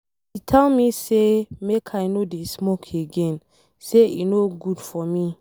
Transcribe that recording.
He tell me make I no dey smoke again, say e no good for me.